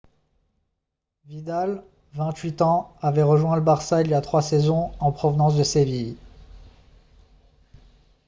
vidal 28 ans avait rejoint le barça il y a trois saisons en provenance de séville